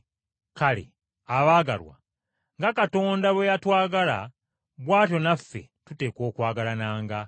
Kale abaagalwa, nga Katonda bwe yatwagala bw’atyo naffe tuteekwa okwagalananga.